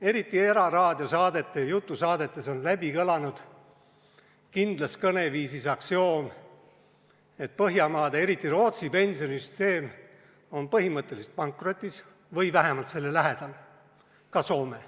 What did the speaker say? Eriti eraraadiosaadete jutusaadetes on kõlanud kindlas kõneviisis aksioom, et Põhjamaade ja just Rootsi pensionisüsteem on põhimõtteliselt pankrotis või vähemalt selle lähedal, ka Soomes.